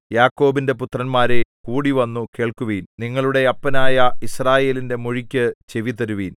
യാക്കോബിന്റെ പുത്രന്മാരേ കൂടിവന്നു കേൾക്കുവിൻ നിങ്ങളുടെ അപ്പനായ യിസ്രായേലിന്റെ മൊഴിക്കു ചെവിതരുവിൻ